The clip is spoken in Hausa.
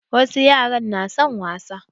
Wasu yaran na son wasa